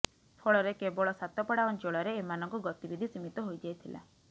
ଫଳରେ କେବଳ ସାତପଡ଼ା ଅଞ୍ଚଳରେ ଏମାନଙ୍କ ଗତିବିଧି ସିମୀତ ହୋଇଯାଇଥିଲା